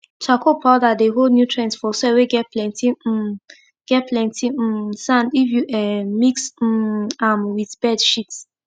charcoal powder dey hold nutrients for soil whey get plenty um get plenty um sandif you um mix um am with bird shits